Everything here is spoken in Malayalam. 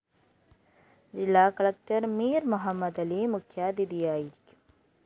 ജില്ലാകലക്ടര്‍ മീര്‍ മുഹമ്മദലി മുഖ്യാതിഥിയായിരിക്കും